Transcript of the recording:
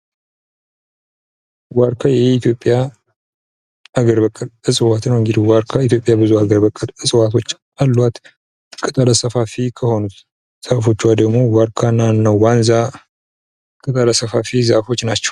ዋርካ የኢትዮጵያ ሀገር በቀል እፅዋት ነው። እንግዲህ ዋርካ ኢትዮጵያ ብዙ ሀገር በቀል እፅዋት አሉአት ቅጠለ ሰፋፊ ከሆኑት ዛፎቿ ደግሞ ዋርካ እና እነዋንዛ ቅጠለ ሰፋፊ ዛፎች ናቸው።